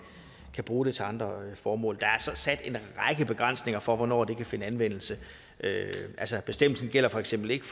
bruge dataene til andre formål der er så sat en række begrænsninger for hvornår det kan finde anvendelse og bestemmelsen gælder for eksempel ikke